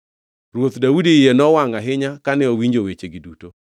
Ruoth Daudi iye nowangʼ ahinya kane owinjo wechegi duto.